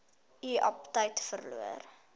u aptyt verloor